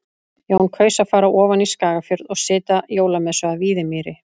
Jón kaus að fara ofan í Skagafjörð og sitja jólamessu að Víðimýri.